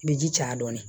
I bɛ ji ca dɔɔnin